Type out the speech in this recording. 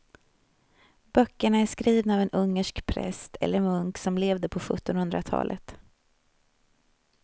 Böckerna är skrivna av en ungersk präst eller munk som levde på sjuttonhundratalet.